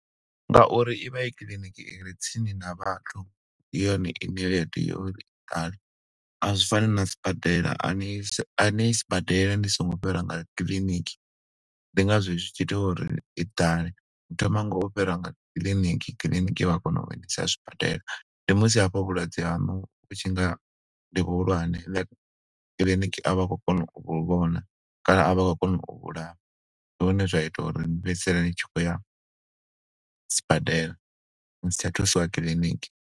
Nga uri ivha i kiḽiniki ire tsini na vhathu, ndi yone ine ya tea uri i ḓale. A zwi fani na sibadela, a niyi si, a niyi sibadela ni songo fhira nga kiḽiniki. Ndi nga zwo zwi tshi ita uri i ḓale, ni thoma nga u fhira nga kiḽiniki, kiḽiniki vha kona uni isa zwibadela. Ndi musi hafha vhulwadze hanu vhu tshi nga ndi vhuhulwane, kiḽiniki avha khou kona u vhu vhona, kana a vha khou kona u vhu vhulaya. Ndi hune zwa ita uri ni fhedzisele ni tshi khou ya sibadela, ni sa tsha thusiwa kiḽiniki.